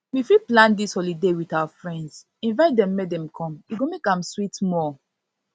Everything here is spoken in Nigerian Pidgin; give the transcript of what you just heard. we fit plan dis holiday with our friends invite dem make dem come e go make am sweet more